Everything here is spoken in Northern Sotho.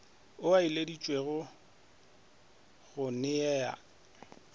ao a ileditšwego go nea